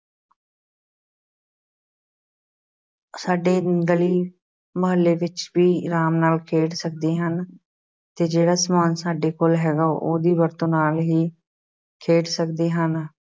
ਸਾਡੇ ਹੀ ਗਲੀ ਮੁਹੱਲੇ ਵਿੱਚ ਵੀ ਆਰਾਮ ਨਾਲ ਖੇਡ ਸਕਦੇ ਹਨ ਤੇ ਜਿਹੜਾ ਸਮਾਨ ਸਾਡੇ ਕੋਲ ਹੈਗਾ ਉਹਦੀ ਵਰਤੋਂ ਨਾਲ ਹੀ ਖੇਡ ਸਕਦੇ ਹਨ।